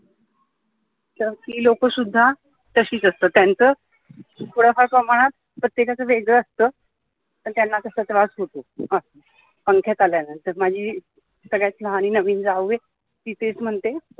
ती लोक सुद्दा तशीच असतात त्याचं थोड्या फार प्रमाणात प्रत्येकाचं वेगळं असतं पण त्यांना असा असा त्रास होतो पंखयात आलाय अजून तर माझी सगळ्यात लहान नवीन जाऊ आहे ती तेच म्हणते